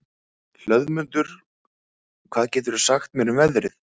Hlöðmundur, hvað geturðu sagt mér um veðrið?